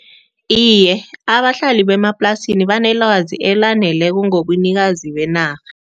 Iye, abahlali bemaplasini banelwazi elaneleko ngobunikazi benarha.